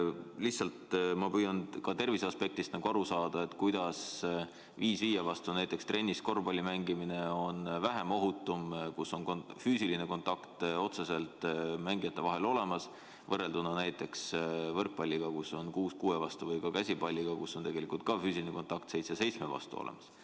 Lihtsalt ma püüan tervise aspektist aru saada, kuidas näiteks viis viie vastu trennis korvpalli mängimine, kus otsene füüsiline kontakt mängijate vahel on olemas, on vähem ohutu kui näiteks võrkpall, kus mängitakse kuus kuue vastu, või käsipall, kus on tegelikult füüsiline kontakt seitse seitsme vastu olemas.